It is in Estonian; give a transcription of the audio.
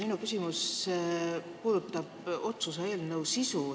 Minu küsimus puudutab otsuse eelnõu sisu.